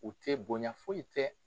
U tɛ bonya foyi tɛ